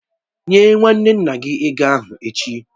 Nye nwanne nna gị ego ahụ echi!